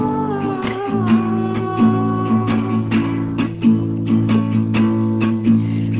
томи